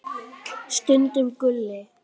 Stundum Gulli.